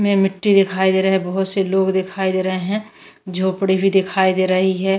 मिट्टी दिखाई दे रहा है बहुत से लोग दिखाई दे रहे हैं झोपड़ी भी दिखाई दे रही है।